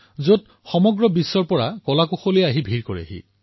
ইয়াত বিশ্বৰ শিল্পীসকল আহি একত্ৰিত হয়